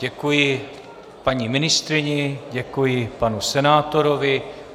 Děkuji paní ministryni, děkuji panu senátorovi.